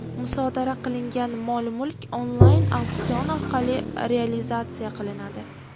Musodara qilingan mol-mulk onlayn-auksion orqali realizatsiya qilinadi.